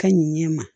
Ka ɲɛ ma